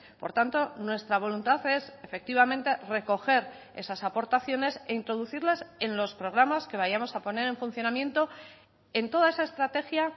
por tanto nuestra voluntad es efectivamente recoger esas aportaciones e introducirlas en los programas que vayamos a poner en funcionamiento en toda esa estrategia